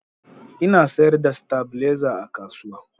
Ina sayar da stabilizer a kasuwa